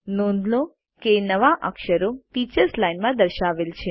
નોંધ લો કે નવા અક્ષરો ટીચર્સ લાઇન માં દર્શાવેલ છે